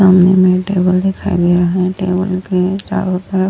सामने मै टेबल दिखाई दे रहा है टेबल के चारो तरफ --